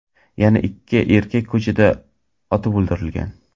Yana ikki erkak ko‘chada otib o‘ldirilgan.